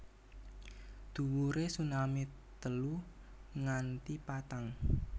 Dhuwure tsunami telu nganti patang